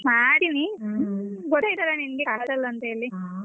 ಮಾಡಿವ್ನಿ ಗೋತಾಯಿತ್ತಲ್ಲ ನಿಂಗೆ ಆಗಲ್ಲ ಅಂತೇಳಿ.